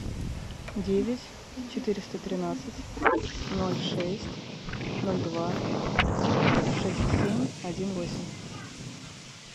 девять четыреста тринадцать ноль шесть ноль два шесть семь один восемь